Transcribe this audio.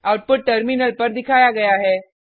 output terminal पर दिखाया गया है